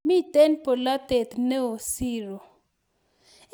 mitei bolotet neo siiro